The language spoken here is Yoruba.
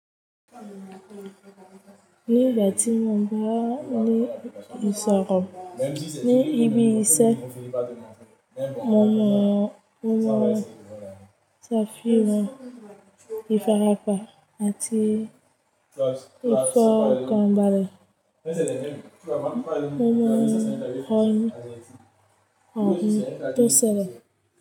Nígbà tí mo ń bá ní ìṣòro, ní ìbí ìṣẹ́, mo mọ ọ̀pọ̀lọpọ̀ tàfíì wà, ìfarapa àti ìfọ̀kànbalẹ̀. Mo mọ ọ̀un tó ṣẹlẹ̀